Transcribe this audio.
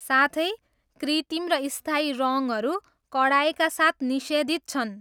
साथै, कृत्रिम र स्थायी रङ्गहरू कडाइका साथ निषेधित छन्!